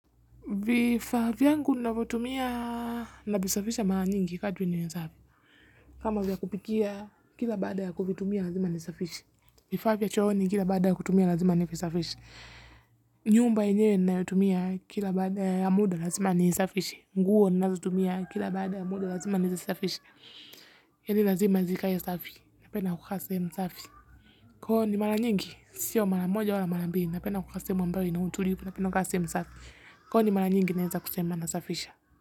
Vifaa vyangu ninavotumia navisafisha mara nyingi kadri niwezavyo. Kama vya kupikia kila baada ya kufitumia lazima nisafishe. Vifaa vya chooni kila baada ya kutumia lazima nivisfishe. Nyumba yenyewe ninayotumia kila baada ya muda lazima nisafishe. Nguo ninazotumia kila baada ya muda lazima nisafishe. Yani lazima zikae safi. Napenda kukaa sehemu safi. Ko ni mara nyingi. Sio mara moja wala mara mbili, napenda kukaa sehemu ambayo ina utulivu. Napenda kukaa sehemu safi. Ko ni mara nyingi naweza kusema nasafisha.